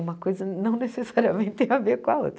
Uma coisa não necessariamente tem a ver com a outra.